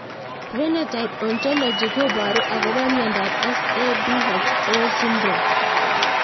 Phenotype Ontology koparu akopo miondop SAPHO syndrome